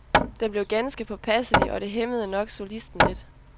Den blev ganske påpasselig, og det hæmmede nok solisten lidt.